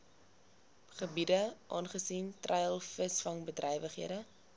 gebiede aangesien treilvisvangbedrywighede